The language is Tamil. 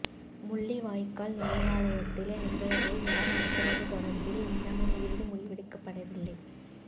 முள்ளிவாய்க்கால் நினைவாலயத்தில் நிகழ்வை யார் நடத்துவது தொடர்பில் இன்னமும் இறுதி முடிவெடுக்கப்படவில்லை